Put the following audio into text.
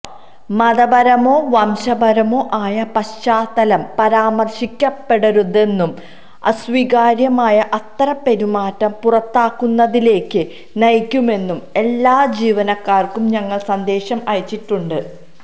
മതപരമോ വംശപരമോ ആയ പശ്ചാത്തലം പരാമര്ശിക്കപ്പെടരുതെന്നും അസ്വീകാര്യമായ അത്തരം പെരുമാറ്റം പുറത്താക്കുന്നതിലേക്ക് നയിക്കുമെന്നും എല്ലാ ജീവനക്കാര്ക്കും ഞങ്ങള് സന്ദേശം അയച്ചിട്ടുണ്ട്